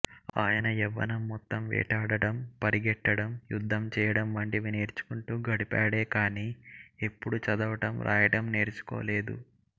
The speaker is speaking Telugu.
ఆయన యవ్వనం మొత్తం వేటాడటం పరిగెట్టడం యుద్ధం చేయడం వంటివి నేర్చుకుంటూ గడిపాడే కానీ ఎప్పుడు చదవటం రాయటం నేర్చుకోలేదు